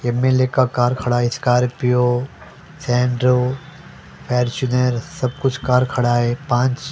MLA का car खड़ा है स्कॉर्पियो सेंट्रो फेरचूनर सब कुछ कार खड़ा है पांच --